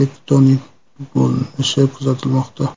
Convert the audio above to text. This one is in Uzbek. tektonik bo‘linish kuzatilmoqda.